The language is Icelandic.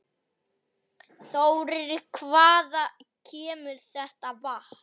Þórir: Hvaðan kemur þetta vatn?